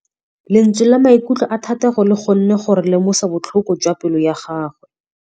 Lentswe la maikutlo a Thategô le kgonne gore re lemosa botlhoko jwa pelô ya gagwe.